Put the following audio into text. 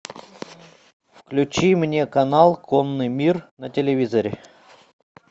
включи мне канал конный мир на телевизоре